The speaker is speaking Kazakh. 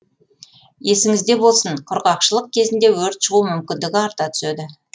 есіңізде болсын құрғақшылық кезінде өрт шығу мүмкіндігі арта түседі